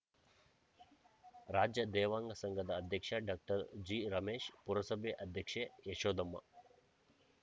ರಾಜ್ಯ ದೇವಾಂಗ ಸಂಘದ ಅಧ್ಯಕ್ಷ ಡಾಕ್ಟರ್ ಜಿರಮೇಶ್‌ ಪುರಸಭೆ ಅಧ್ಯಕ್ಷೆ ಯಶೋದಮ್ಮ